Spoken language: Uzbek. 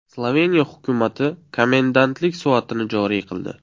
Sloveniya hukumati komendantlik soatini joriy qildi.